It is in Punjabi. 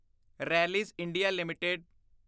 Rallis India limited